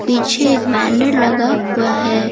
पीछे एक बैनर लगा हुआ है।